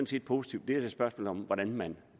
set positivt det er et spørgsmål om hvordan man